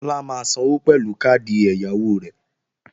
Tọ́lá máa sanwó pẹ̀lú káàdì ẹ̀yáwó rẹ̀